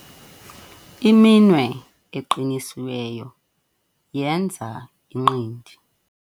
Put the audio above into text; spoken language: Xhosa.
iminwe eqinisiweyo yenza inqindi